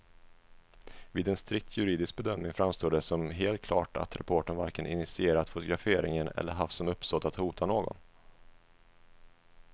Vid en strikt juridisk bedömning framstår det som helt klart att reportern varken initierat fotograferingen eller haft som uppsåt att hota någon.